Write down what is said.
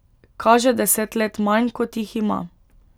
Kaže deset let manj, kot jih ima.